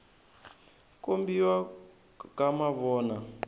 kombiwa ka mavona